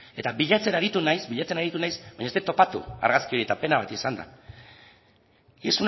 eta bilatzen aritu naiz baina ez dut topatu argazki hori eta pena bat izan da y